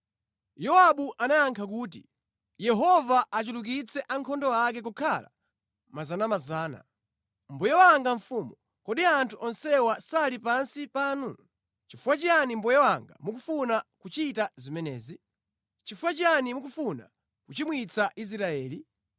Yowabu anayankha kuti, “Yehova achulukitse ankhondo ake kukhala miyandamiyanda. Mbuye wanga mfumu, kodi anthu onsewa sali pansi panu? Nʼchifukwa chiyani mbuye wanga mukufuna kuchita zimenezi? Nʼchifukwa chiyani mukufuna kuchimwitsa Israeli?”